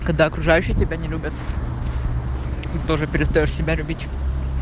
когда окружающие тебя не любят тоже перестаёшь себя любить